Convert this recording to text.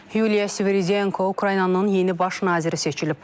Yuliya Sviridenko Ukraynanın yeni baş naziri seçilib.